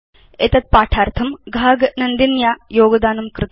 एतद् पाठार्थं घाग नन्दिन्या योगदानं कृतम्